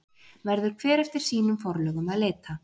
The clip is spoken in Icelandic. Verður hver eftir sínum forlögum að leita.